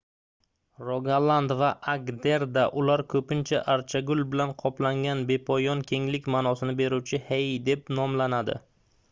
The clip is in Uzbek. rogaland va agderda ular koʻpincha archagul bilan qoplangan bepoyon kenglik maʼnosini beruvchi hei deb nomlanadi